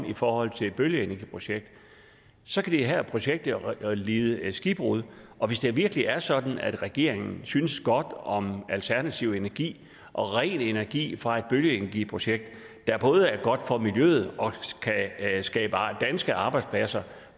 i forhold til et bølgeenergiprojekt så kan det her projekt jo lide skibbrud og hvis det virkelig er sådan at regeringen synes godt om alternativ energi og ren energi fra et bølgeenergiprojekt der både er godt for miljøet og kan skabe danske arbejdspladser